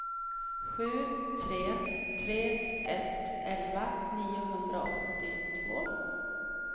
sju tre tre ett elva niohundraåttiotvå